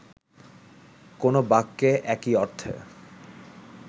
কো্নো বাক্যে একই অর্থে